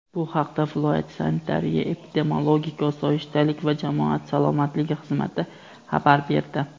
Bu haqda viloyat Sanitariya-epidemiologik osoyishtalik va jamoat salomatligi xizmati xabar berdi.